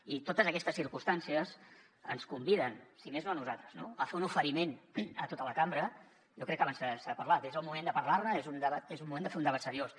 i totes aquestes circumstàncies ens conviden si més no a nosaltres no a fer un oferiment a tota la cambra jo crec que abans se n’ha parlat és el moment de parlar ne és un debat és el moment de fer un debat seriós